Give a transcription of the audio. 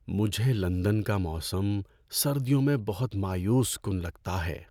مجھے لندن کا موسم سردیوں میں بہت مایوس کن لگتا ہے۔